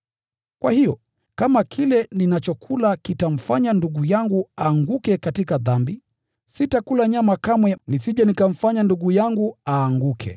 Kwa hiyo, kama kile ninachokula kitamfanya ndugu yangu aanguke katika dhambi, sitakula nyama kamwe, nisije nikamfanya ndugu yangu aanguke.